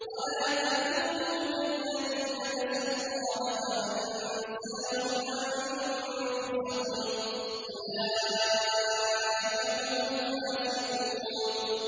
وَلَا تَكُونُوا كَالَّذِينَ نَسُوا اللَّهَ فَأَنسَاهُمْ أَنفُسَهُمْ ۚ أُولَٰئِكَ هُمُ الْفَاسِقُونَ